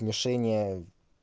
лишение